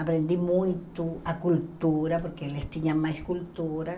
Aprendi muito a cultura, porque eles tinham mais cultura.